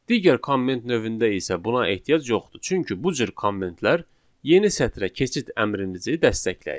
Digər komment növündə isə buna ehtiyac yoxdur, çünki bu cür kommentlər yeni sətrə keçid əmrimizi dəstəkləyir.